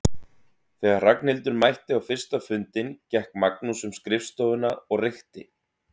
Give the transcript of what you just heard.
Þegar Ragnhildur mætti á fyrsta fundinn gekk Magnús um skrifstofuna og reykti.